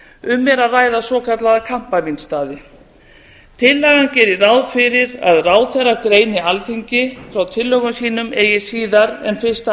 um er að ræða svokallaða kampavínsstaði tillagan gerir ráð fyrir að ráðherra greini alþingi frá tillögum sínum eigi síðar en fyrsta